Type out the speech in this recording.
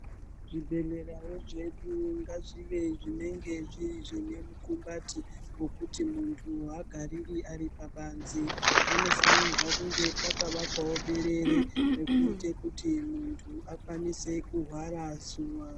Zvibhedhlerawo zvedu ngazvive zvinenge zvine mukumbati wekuti muntu agariri ari pabanze panofanirwa kunge pakavakwawo berere rekuite kuti muntu ange achihwarawo zuwa.